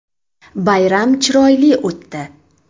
Bayram chiroyli o‘tdi.